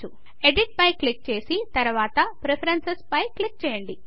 edit పై click చేసి తర్వాత ప్రిఫరెన్సెస్ పైన క్లిక్ చేయండి